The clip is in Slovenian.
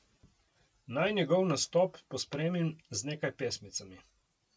Naj njegov nastop pospremim z nekaj pesmicami!